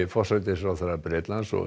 forsætisráðherra Bretlands og